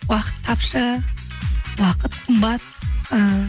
уақыт тапшы уақыт қымбат ііі